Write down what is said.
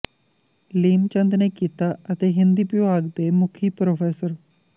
ਲੀਮ ਚੰਦ ਨੇ ਕੀਤਾ ਅਤੇ ਹਿੰਦੀ ਵਿਭਾਗ ਦੇ ਮੁਖੀ ਪ੍ਰੋ